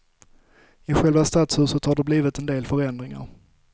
I själva stadshuset har det blivit en del förändringar.